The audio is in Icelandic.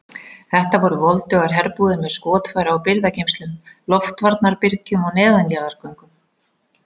Þetta voru voldugar herbúðir með skotfæra og birgðageymslum, loftvarnarbyrgjum og neðanjarðargöngum.